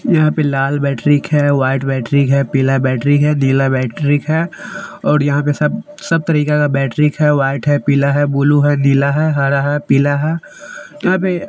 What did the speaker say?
यहां पे लाल बैटरी है व्हाइट बैटरी है पीला बैटरी है नीला बैटरी है और यहां पर सब तरीका का बैटरी है। व्हाइट है पीला है ब्लू है निला है पीला है हरा है यहां पे--